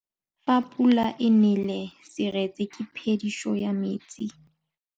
Fa pula e nelê serêtsê ke phêdisô ya metsi.